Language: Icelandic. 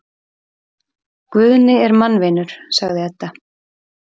Guðni er mannvinur, sagði Edda.